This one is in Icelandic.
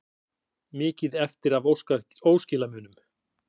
Mikið eftir af óskilamunum